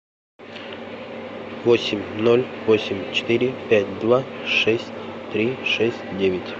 восемь ноль восемь четыре пять два шесть три шесть девять